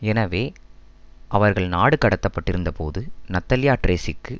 எனவே அவர்கள் நாடு கடத்தப்பட்டிருந்தபோது நத்தலியா ட்ரொட்ஸ்கிக்கு